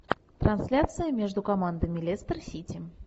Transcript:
трансляция между командами лестер сити